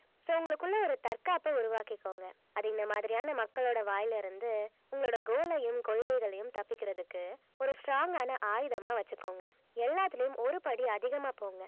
so உங்களுக்குள்ளே ஒரு தற்காப்ப உருவாக்கிக்கோங்க அது இந்த மாதிரியான மக்களோட வாயில இருந்து உங்களோட goal ஐயும் கொள்கைகளையும் தப்பிக்கிறதுக்கு ஒரு strong ஆன ஆயுதமா வச்சுக்கோங்க எல்லாத்துலயும் ஒரு படி அதிகமா போங்க